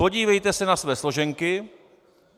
Podívejte se na své složenky.